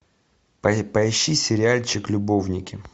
поищи сериальчик любовники